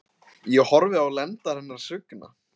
Ég horfi á lendar hennar svigna.